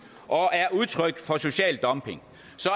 og er udtryk for social dumping